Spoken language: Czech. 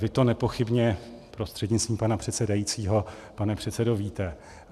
Vy to nepochybně, prostřednictvím pana předsedajícího pane předsedo, víte.